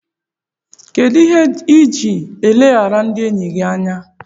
Kedụ ihe iji eleghara ndị enyi gị anya?